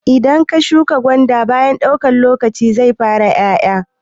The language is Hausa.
Idan ka shuka gwanda baya daukan lokaci zai fara 'ya'ya.